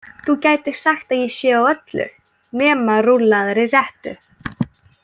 Þú gætir sagt að ég sé á öllu nema rúllaðri rettu.